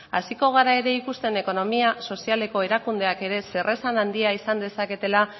hasiko gara ere ekonomia sozialeko erakundeak ere zer esan handia izan dezaketela